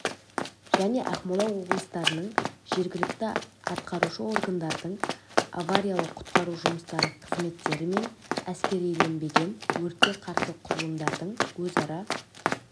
және ақмола облыстарының жергілікті атқарушы органдардың авариялық-құтқару жұмыстары қызметтері мен әскериленбеген өртке қарсы құрылымдардың өзара